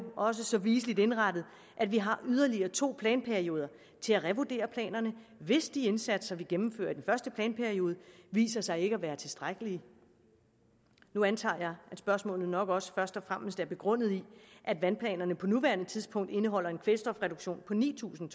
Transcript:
også så viseligt indrettet at vi har yderligere to planperioder til at revurdere planerne hvis de indsatser vi gennemfører i den første planperiode viser sig ikke at være tilstrækkelige nu antager at spørgsmålet nok også først og fremmest er begrundet i at vandplanerne på nuværende tidspunkt indeholder en kvælstofreduktion på ni tusind